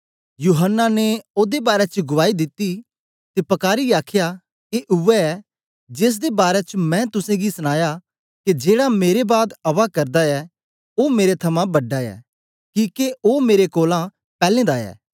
यूहन्ना ने ओदे बारै च गुआई दिती ते पकारीयै आखया ए उवै ऐ जेसदे बारै च मैं तुसेंगी सनाया के जेड़ा मेरे बाद आवा करदा ऐ ओ मेरे थमां बड़ा ऐ किके ओ मेरे कोलां पैलैं दा ऐ